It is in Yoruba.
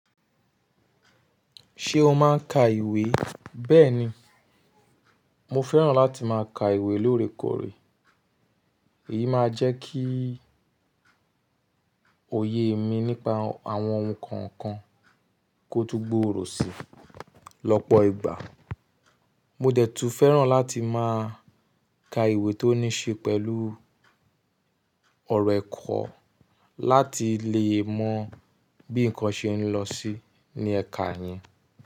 Ṣé o máa ń ka ìwé? Bẹ́ẹ̀ni, mo fẹ́ràn láti máa ka ìwé lóorekòrè. Èyí máa jẹ́ kí òye mi nípa àwọn ohun kan kan kó tó gbòòrò si. Lọ́pọ̀ ìgbà mo dẹ̀ tùú fẹ́ràn láti máa ka ìwé tó ní ṣe pẹ̀lú ọ̀rọ̀ ẹ̀kọ́ láti lè mọ bí nǹkan ṣe ń lọ sí ní ẹ̀ka yẹn.